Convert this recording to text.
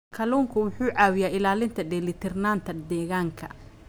Kalluunku wuxuu caawiyaa ilaalinta dheelitirnaanta deegaanka.